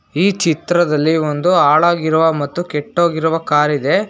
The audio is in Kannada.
ಈ ಚಿತ್ರದಲ್ಲಿ ಒಂದು ಹಾಳಾಗಿರುವ ಮತ್ತು ಕೆಟ್ಟೋಗಿರುವ ಕಾರಿದೆ.